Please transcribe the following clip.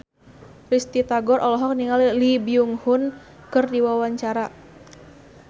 Risty Tagor olohok ningali Lee Byung Hun keur diwawancara